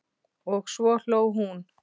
Og svo hló hún.